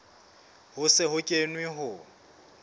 ho se ho kenwe ho